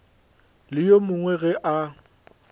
le yo mongwe ge a